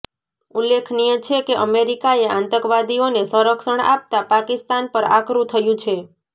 ઉલ્લેખનીય છે કે અમેરિકાએ આતંકવાદીઓને સંરક્ષણ આપતા પાકિસ્તાન પર આકરું થયું છે